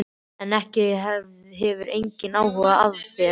En hún hefur engan áhuga á þér.